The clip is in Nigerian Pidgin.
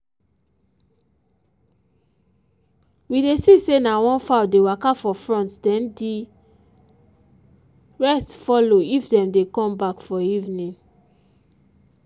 we dey see say na one fowl dey waka for front then the rest follow if them dey come back for evening.